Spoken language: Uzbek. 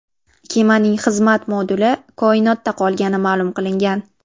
Kemaning xizmat moduli koinotda qolgani ma’lum qilingan.